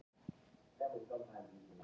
Getum við hugsað okkur lágmarksstærð?